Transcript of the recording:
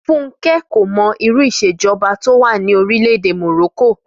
Fúnkẹ́ kò mọ irú ìṣèjọba tó wà ní orílẹ̀ èdè Morocco